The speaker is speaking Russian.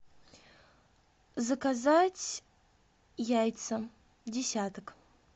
заказать яйца десяток